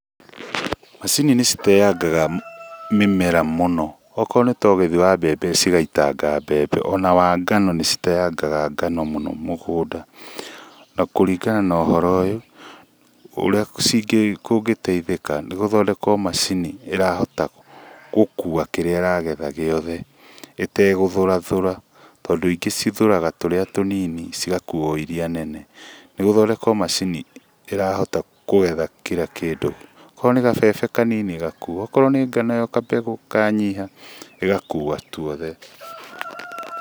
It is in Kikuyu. Macini nĩciteyangaga mĩmera mũno akorwo nĩta ũgethi wa mbembe, cigaitanga mbembe ona wa ngano nĩciteyangaga ngano mũno mũgũnda. Na kũringana na ũhoro ũyũ ũrĩa tũngĩteithĩka nĩ gũthondekwo macini ĩrahota gũkua kĩrĩa ĩragetha gĩothe ĩtegũthũrathũra tondũ ingĩ cithũraga tũrĩa tũnini cigakua o iria nene, nĩgũthondekwo macini ĩrahota kũgetha kĩra kĩndũ akorwo nĩ gabebe kanini ĩgakua akorwo nĩ ngano gabegũ kanyiha ĩgakua tuothe.